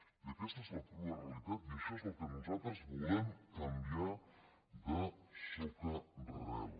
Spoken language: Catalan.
i aquesta és la crua realitat i això és el que nosaltres volem canviar de socarel